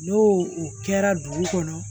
N'o o kɛra dugu kɔnɔ